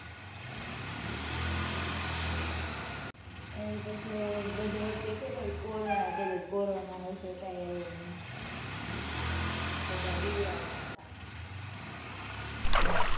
ઠીક. એમ પછી બધા વચ્ચે ખબર કોરોના કેતા ખબર કોરોના આવશે. કઈ આવ્યો નહીં. હાં બધા બિવડાવતા હતા.